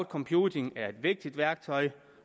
computing er et vigtigt værktøj